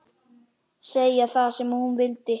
Segja það sem hún vildi.